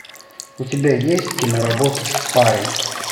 у тебя есть киноработа спарринг